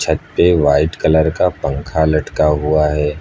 छत पे white colour का पंखा लटका हुआ है।